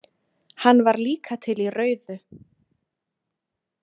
Hann var líka til í rauðu.